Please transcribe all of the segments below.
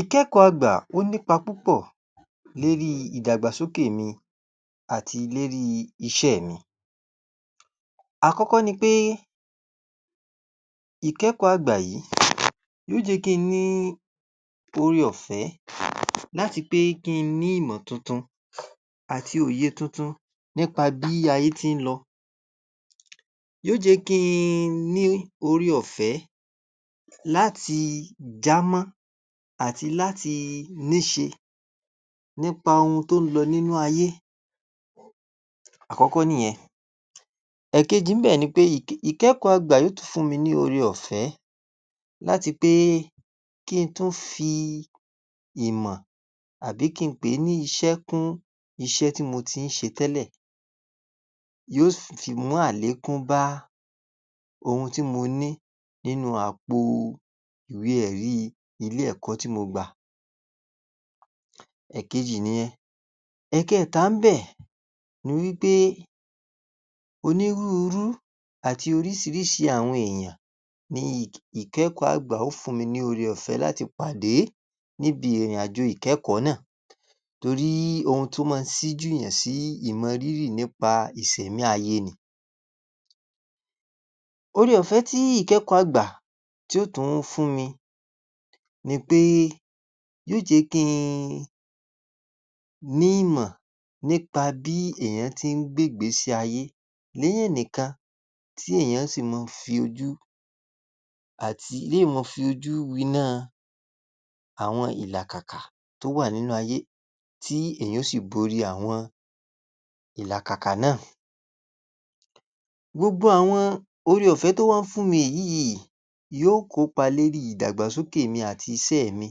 Ìkẹ́kọ̀ọ́ àgbà ó nípa púpọ̀ lérí ìdàgbàsókè mi àti lérí iṣẹ́ mi. Àkọ́kọ́ ni pé, ìkẹ́kọ̀ọ́ àgbà yìí yóo jẹ́ kí n ní oore ọ̀fẹ́ láti pé kí n ní ìmọ̀ tuntun àti òye tuntun nípa bí ayé tí ń lọ. Yóo jẹ́ kí i n ní oore ọ̀fẹ́ láti jámọ́ àti láti níṣe nípa ohun tó ń lọ nínú ayé. Àkọ́kọ́ nìyẹn. Ẹ̀kejì ńbẹ̀ ni pé ìkẹ́k...ìkẹ́kọ̀ọ́ àgbà yóo tún fún mi ni oore ọ̀fẹ́ láti pé kí n tún fi ìmọ̀ àbí kí n pè é ní iṣẹ́ kún iṣẹ́ tí mo tí ń ṣe tẹ́lẹ̀. Yóò sìt fi mú àlékún bá ohun tí mo ní nínú àpò ìwé ẹ̀rí ilé ẹ̀kọ́ tí mo gbà tẹ́lẹ̀. Ẹ̀kejì nìyẹn. Ẹ̀kẹẹ̀ta ńbẹ̀ ni wí pé onírúurú àti orísirísi àwọn èèyàn ni ìk...ìkẹ́kọ̀ọ́ àgbà óò fún mi ní oore ọ̀fẹ́ láti pàdé níbi ìrìn-àjò ìkẹ́kọ̀ọ́ náà. Torí ohun tó mọ́ n síjúyàn sí ìmọrírì nípa ìsẹ̀mí ayé ni. Oore ọ̀fẹ́ tí ìkẹ́kọ̀ọ́ àgbà tí ò tún fún mi ni péé yóò jẹ́ kí n ní ìmọ̀ nípa bí èèyàn ti ń gbégbèsí ayé níyàn nìkan, tí èèyàn sì mọ́ ń fi ojú àti, tí èyàn mọ́ọ́ fojú wináa àwọn ìlàkàkà tó wà nínú ayé, tí èèyàn ó sì borí àwọn ìlàkàkà náà. Gbogbo àwọn oore ọ̀fẹ́ tó wá ń fún mi yìí, yó kopa lérí ìdàgbàsókè mi àti iṣẹ́ mi,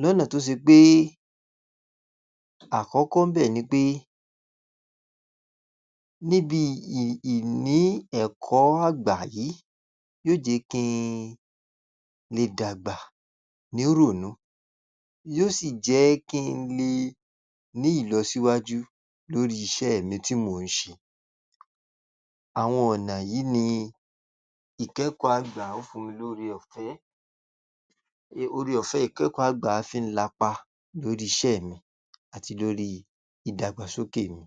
lọ́nà tó ṣe pé, àkọ́kọ́ ńbẹ̀ ni pé, níbi ì...ì...ìní ẹ̀kọ́ àgbà yìí yóò jẹ́ kí n le dàgbà nírònú, yóò sì jẹ́ kí n le ní ìlọsíwájú lórí iṣẹ́ mi tí mò ń ṣe. Àwọn ọ̀nà yìí ni ìkẹ́kọ̀ọ́ àgbà ó fún mi lóore ọ̀fẹ́... oore ọ̀fẹ́ ìkẹ́kọ̀ọ́ àgbà fí ń lapa lórí iṣẹ́ mi àti lórí ìdàgbàsókè mi.